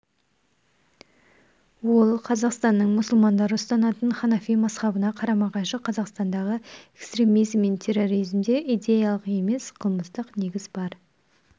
ол қазақстанның мұсылмандары ұстанатын ханафи мазһабына қарама-қайшы қазақстандағы экстремизм мен терроризмде идеялық емес қылмыстық негіз бар